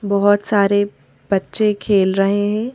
बहुत सारे बच्चे खेल रहे हैं।